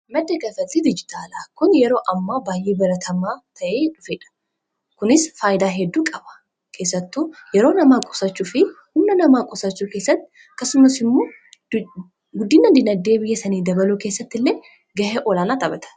Maddi kanfaltii dijitaalaa kun yeroo ammaa baay'ee baratamaa ta'ee dhufedha. Kunis faayidaa hedduu qaba. Keessattuu yeroo namaafi humna namaa qusachuu keessatti akkasumas immoo guddina diinagdee biyya sanii dabaluu keessatti illee ga'ee olaanaa taphata.